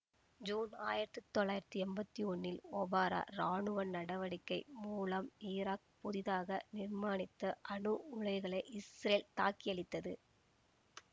June ஆயிரத்தி தொள்ளாயிரத்தி எம்பத்தி ஒன்னில் ஒபரா இராணுவ நடவடிக்கை மூலம் ஈராக் புதிதாக நிர்மானித்த அணு உலைகளை இஸ்ரேல் தாக்கியழித்தது